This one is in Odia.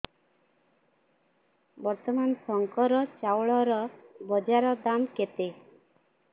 ବର୍ତ୍ତମାନ ଶଙ୍କର ଚାଉଳର ବଜାର ଦାମ୍ କେତେ